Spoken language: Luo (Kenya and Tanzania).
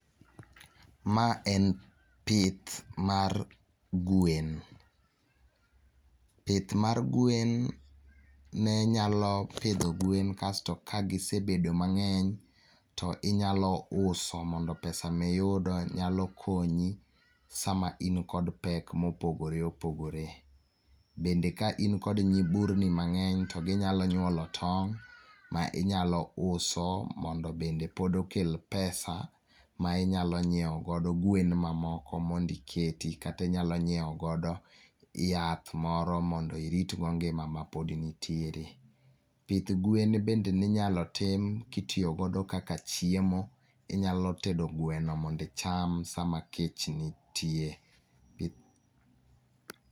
Ma en pith mar gwen. Pith mar gwen ne nyalo pidho gwen kasto ka gisebedo mang'eny to inyalo uso mondo pesa miyudo nyalo konyi sama in kod pek mopogore opogore. Bende ka in kod nyiburni mang'eny, to ginyalo nyuolo tong' ma inyalo uso mondo bende pod okel pesa ma inyalo nyiewo godo gwen mamoko mondo iketi kata inyalo nyiewo godo yath moro mondo irit go ngima ma pod intiere. Pith gwen bende ninyalo tim kitiyo godo kaka chiemo. Inyalo tedo gweno mondo icham sama kech nitie.